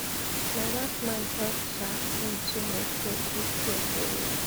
na dat man help um me sew my skirt wey tear for road